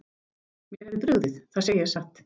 Mér hefði brugðið, það segi ég satt.